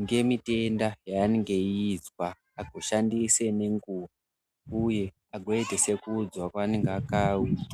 ngemitenda yeanenge echizwa azoshandisa ngenguwa, uye agoite sekuudzwa kweanenge akaitwa.